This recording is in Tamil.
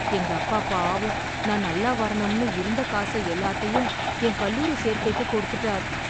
எங்க அப்பா பாவம் நான் நல்லா வரணும்னு இருந்த காச எல்லாத்தையும் என் கல்லூரி சேர்க்கைக்கு கொடுத்துட்டார்.